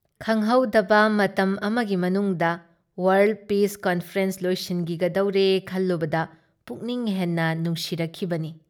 ꯈꯪꯍꯧꯗꯕ ꯃꯇꯝ ꯑꯃꯒꯤ ꯃꯅꯨꯡꯗ ꯋꯥꯔꯜ ꯄꯤꯁ ꯀꯟꯐꯔꯦꯟꯁ ꯂꯣꯏꯁꯤꯟꯈꯤꯒꯗꯧꯔꯦ ꯈꯜꯂꯨꯕꯗ ꯄꯨꯛꯅꯤꯡ ꯍꯦꯟꯅ ꯅꯨꯡꯁꯤꯔꯛꯈꯤꯕꯅꯤ ꯫